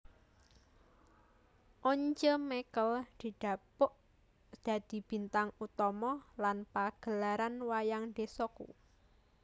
Once Mekel didapuk dadi bintang utama nang pagelaran wayang desoku